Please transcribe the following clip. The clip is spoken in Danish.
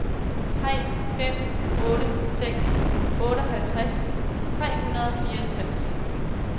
tre fem otte seks otteoghalvtreds tre hundrede og fireogtres